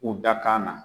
U dakan na